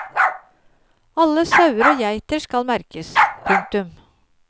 Alle sauer og geiter skal merkes. punktum